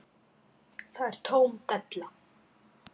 Það er tóm della.